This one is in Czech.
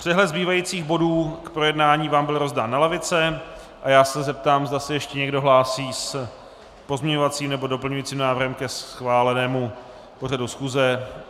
Přehled zbývajících bodů k projednání vám byl rozdán na lavice a já se zeptám, zda se ještě někdo hlásí s pozměňovacím nebo doplňujícím návrhem ke schválenému pořadu schůze.